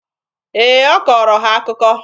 Ee, ọ kọọrọ ha akụkọ.